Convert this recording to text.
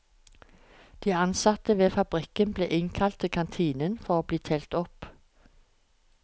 De ansatte ved fabrikken ble innkalt til kantinen for å bli telt opp.